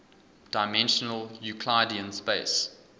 dimensional euclidean space